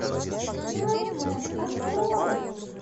найтмэн открой